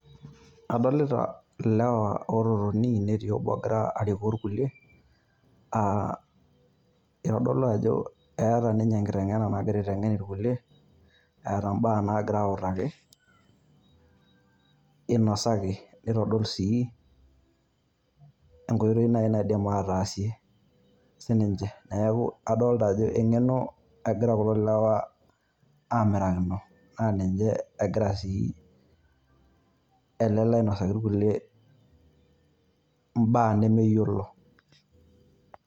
Adolita ilewa oo totoni netii obo ogira arikoo ilkilie aa itodolu ajo eeta ninye enkiteng`ena nagira aiteng`en ilkulie eeta imbaa naagira autaki. Inosaki, nitodol sii enkoitoi naaji naidim ataasie sii ninche. Neeku adolita ajo eng`eno egira kulo lewaa aamirakino naa ninye egira sii ele lee ainosaki ilkulie imbaa nemeyiolo.